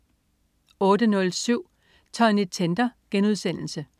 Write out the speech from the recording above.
08.07 Tonny Tender*